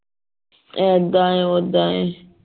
ਇਦਾ ਆਂ ਓਦਾ ਆਂ